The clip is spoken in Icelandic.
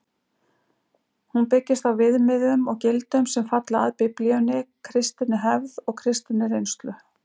Hún byggist á viðmiðum og gildum sem falla að Biblíunni, kristinni hefð og kristinni reynslu.